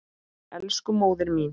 Elsku móðir mín.